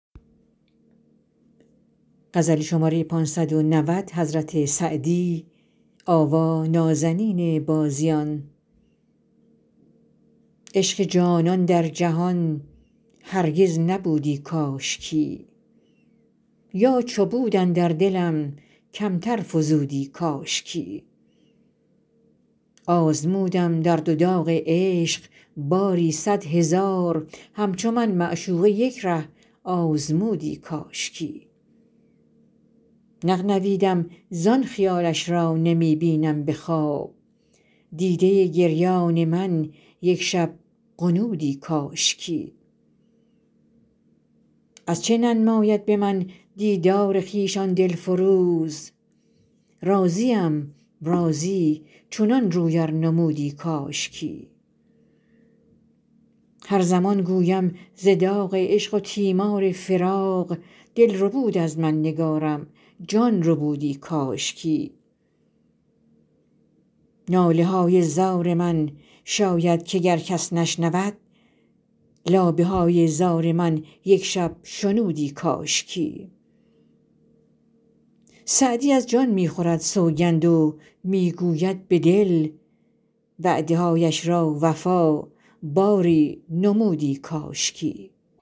عشق جانان در جهان هرگز نبودی کاشکی یا چو بود اندر دلم کمتر فزودی کاشکی آزمودم درد و داغ عشق باری صد هزار همچو من معشوقه یک ره آزمودی کاشکی نغنویدم زان خیالش را نمی بینم به خواب دیده گریان من یک شب غنودی کاشکی از چه ننماید به من دیدار خویش آن دل فروز راضیم راضی چنان روی ار نمودی کاشکی هر زمان گویم ز داغ عشق و تیمار فراق دل ربود از من نگارم جان ربودی کاشکی ناله های زار من شاید که گر کس نشنود لابه های زار من یک شب شنودی کاشکی سعدی از جان می خورد سوگند و می گوید به دل وعده هایش را وفا باری نمودی کاشکی